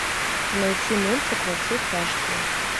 найти мультик во все тяжкие